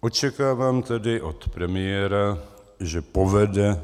Očekávám tedy od premiéra, že povede